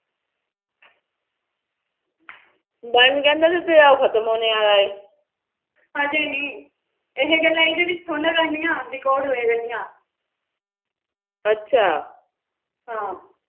ਹਜੇ ਨੀ ਇਹ ਗੱਲਾਂ ਇਹਦੇ ਵਿੱਚ ਥੋੜੀ ਨਾ ਕਰਨੀਆਂ record ਹੋਇਆ ਕਰਦੀਆਂ ਅੱਛਾ ਹਾ